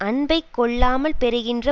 அன்பைக் கொள்ளாமல் பெறுகின்ற